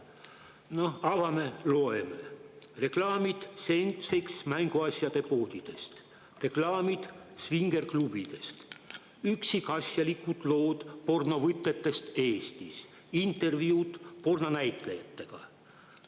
Noh, avame, loeme: seksmänguasjade poodide reklaamid, svingerklubide reklaamid, üksikasjalikud lood pornovõtetest Eestis, intervjuud pornonäitlejatega.